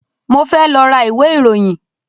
Mo fẹ́ lọ ra ìwé ìròyìn